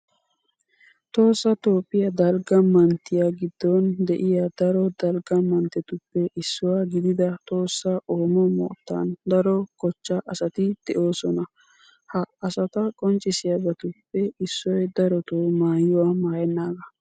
Tohossa toophphiya dalgga manttiya giddon de'iya daro dalgga manttetuppe issuwa gidida tohossa oomo moottan daro kochchaa asati de'oosona. Ha asata qonccissiyabatuppe issoy darotoo maayuwa maayennaagaa.